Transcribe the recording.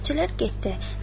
Xidmətçilər getdi.